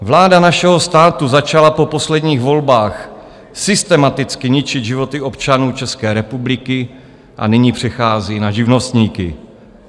Vláda našeho státu začala po posledních volbách systematicky ničit životy občanů České republiky a nyní přechází na živnostníky.